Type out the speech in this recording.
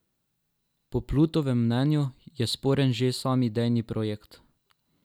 Po Plutovem mnenju je sporen že sam idejni projekt.